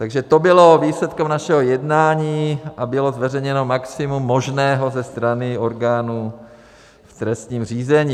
Takže to bylo výsledkem našeho jednání a bylo zveřejněno maximum možného ze strany orgánů v trestním řízení.